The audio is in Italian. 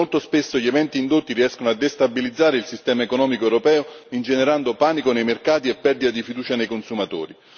Molto spesso gli eventi indotti riescono a destabilizzare il sistema economico europeo, ingenerando panico nei mercati e perdita di fiducia nei consumatori.